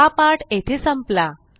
हा पाठ येथे संपला